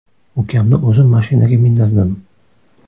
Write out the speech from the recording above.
Ukamni o‘zim mashinaga mindirdim.